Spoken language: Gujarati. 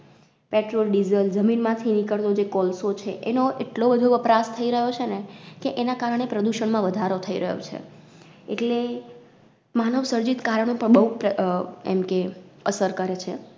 PetrolDiesel જમીન માં થી નિકડતો જે કોલસો છે એનો એટલો વધુ વપરાશ થઈ રયો છે ને કે એના કારણે પ્રદૂષણ માં વધારો થઈ રયો છે. એટલે માનવસર્જિત કારણો પણ બઉ પ્ર અ એમકે અસર કરે છે.